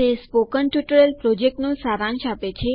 તે spoken tutorial પ્રોજેક્ટનો સારાંશ આપે છે